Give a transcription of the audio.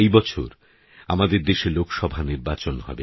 এই বছর আমাদের দেশে লোকসভা নির্বাচন হবে